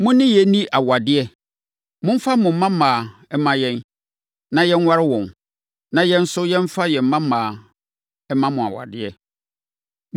Mo ne yɛnni awadeɛ. Momfa mo mmammaa mma yɛn, na yɛnware wɔn, na yɛn nso, yɛmfa yɛn mmammaa mma mo awadeɛ.